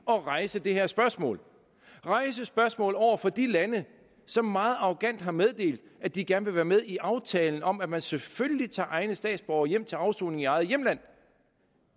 at rejse det her spørgsmål rejse spørgsmålet over for de lande som meget arrogant har meddelt at de gerne vil være med i aftalen om at man selvfølgelig tager egne statsborgere hjem til afsoning i eget hjemland